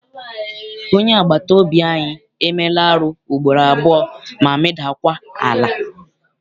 Onye agbata obi anyị emeela arụ ugboro abụọ ma meda kwa ala.